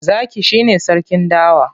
Zaki shi ne sarkin dawa.